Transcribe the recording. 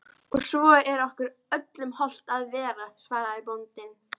Og svo er okkur öllum hollt að vera, svaraði bóndinn.